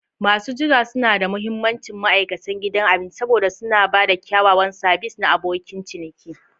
Masu jira suna da mahimmanci ma'aikatan gidan abinci saboda suna ba da kyakkyawan sabis na abokin ciniki.